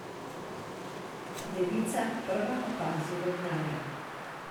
Devica prva opazi vodnarja.